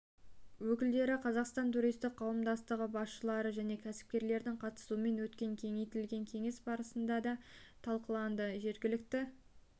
өкілдері қазақстан туристік қауымдастығы басшылары және кәсіпкерлердің қатысуымен өткен кеңейтілген кеңес барысында да талқыланды жергілікті